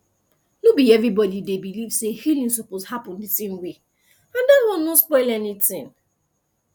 no be everybody dey believe say healing suppose happen the same way and that one no spoil anything